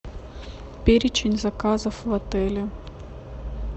перечень заказов в отеле